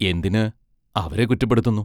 എന്തിന് അവരെ കുറ്റപ്പെടുത്തുന്നു.